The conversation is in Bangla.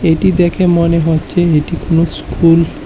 এটি দেখে মনে হচ্ছে এটি কোন স্কুল ।